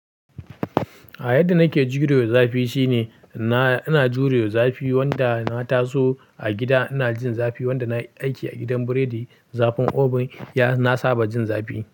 A yadda nake jurewa zafi shine, na-ina jurewa zafi wanda na taso a gida ina jin zafi wanda nayi aiki a gidan biredi zafin oven ya na saba jin zafi.